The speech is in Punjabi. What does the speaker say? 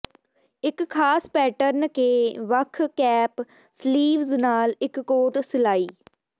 ਇੱਕ ਖਾਸ ਪੈਟਰਨ ਕੇ ਵੱਖ ਕੈਪ ਸਲੀਵਜ਼ ਨਾਲ ਇੱਕ ਕੋਟ ਸਿਲਾਈ